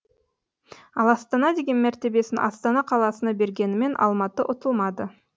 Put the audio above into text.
ал астана деген мәртебесін астана қаласына бергенімен алматы ұтылмады